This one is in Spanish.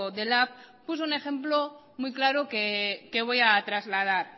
de lab puso un ejemplo muy claro que voy a trasladar